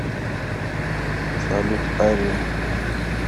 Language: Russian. салют ария